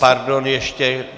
Pardon ještě.